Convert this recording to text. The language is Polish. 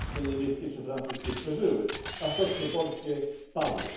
stocznie niemieckie czy francuskie przeżyły, a stocznie polskie padły.